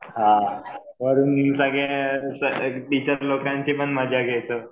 हां वरून टीचर लोकांचे पण मजा घ्यायचो.